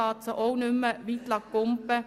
sie nicht mehr weit springen.